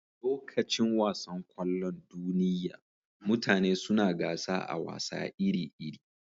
Lokacin wasan kwallon duniyya, mutane suna gasa a wasa iri-iri.